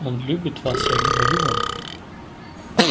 он любит вас я говорю вам